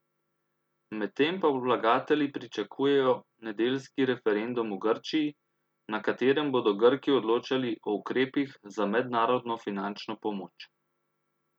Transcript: Medtem pa vlagatelji pričakujejo nedeljski referendum v Grčiji, na katerem bodo Grki odločali o ukrepih za mednarodno finančno pomoč.